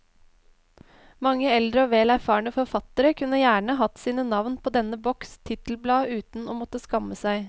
Mange eldre og vel erfarne forfattere kunne gjerne hatt sine navn på denne boks titelblad uten å måtte skamme seg.